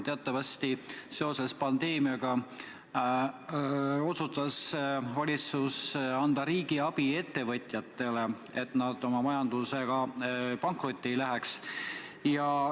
Teatavasti otsustas valitsus seoses pandeemiaga anda ettevõtjatele riigiabi, et nad pankrotti ei läheks.